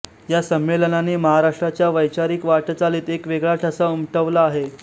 या संमेलनाने महाराष्ट्राच्या वैचारिक वाटचालीत एक वेगळा ठसा उमटवला आहे